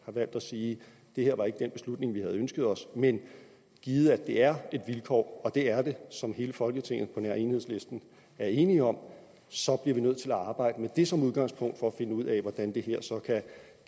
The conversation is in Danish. har valgt at sige det her var ikke den beslutning vi havde ønsket os men givet at det er et vilkår og det er det som hele folketinget på nær enhedslisten er enige om så bliver vi nødt til at arbejde med det som udgangspunkt for at finde ud af hvordan det her så kan